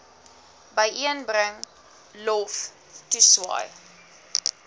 byeenbring lof toeswaai